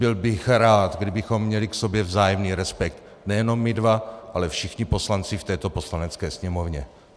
Byl bych rád, kdybychom měli k sobě vzájemný respekt nejenom my dva, ale všichni poslanci v této Poslanecké sněmovně.